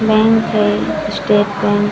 bank है State Bank --